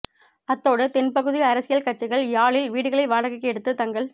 அத்தோடு தென்பகுதி அரசியல் கட்சிகள் யாழில் வீடுகளை வாடகைக்கு எடுத்து தங்கள்